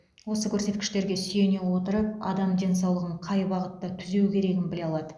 осы көрсеткіштерге сүйене отырып адам денсаулығын қай бағытта түзеу керегін біле алады